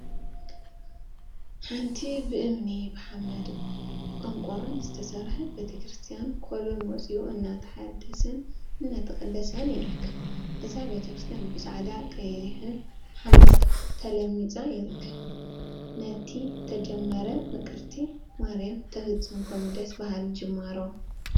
ሓንቲ ብእምኒ፣ ብሓመድን ቆርቆሮን ዝተሰርሐት ቤተ ክርስትያን ኮሎን ወፂኡ አናተሓደሰን እናተነደቀን ይርከብ፡፡ እዛ ቤተ ክርስትያን ብፃዕዳን ቀይሕን ሓመድ ተለሚፁ ይርከብ፡፡ ነቲ ተጀመረ ምቅርቲ ማርያም ተፈፅምኩም ደስ በሃሊ ጅማሮ፡፡